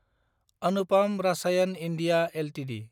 Anupam Rasayan India Ltd